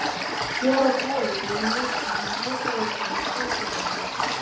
Fjórar holur voru í notkun hjá Hitaveitu Seltjarnarness.